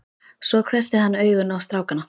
Svo hvessti hann augun á strákana.